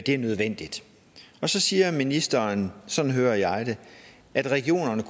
er nødvendigt så siger ministeren sådan hører jeg det at regionerne